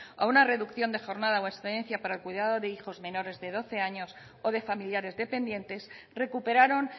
a una reducción de jornada o excedencia para el cuidado de hijos menores de doce años o de familiares dependientes recuperaron